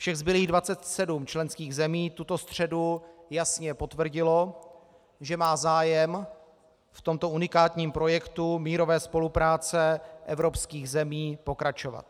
Všech zbylých 27 členských zemí tuto středu jasně potvrdilo, že má zájem v tomto unikátním projektu mírové spolupráce evropských zemí pokračovat.